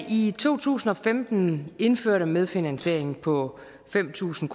i to tusind og femten indførte medfinansiering på fem tusind